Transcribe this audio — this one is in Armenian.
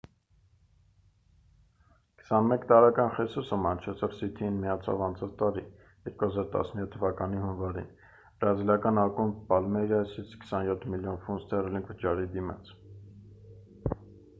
21 տարեկան խեսուսը մանչեստր սիթիին միացավ անցած տարի 2017 թվականի հունվարին բրազիլական ակումբ պալմեյրասից 27 միլիոն ֆունտ ստեռլինգ վճարի դիմաց